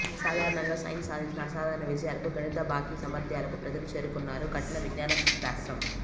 సాధారణంగా సైన్స్ సాధించిన అసాధారణ విజయాలకు గణిత బాకీ సామర్ధ్యాలకు ప్రజలు చేరుకున్నారు కటిన విజ్ఞానశాస్త్రం